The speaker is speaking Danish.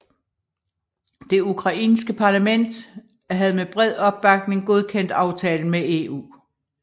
Det ukrainske parlament havde med bred opbakning godkendt aftalen med EU